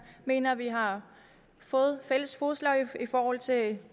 mener vi har fået fælles fodslag i forhold til